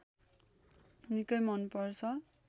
निकै मनपर्छ